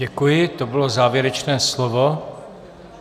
Děkuji, to bylo závěrečné slovo.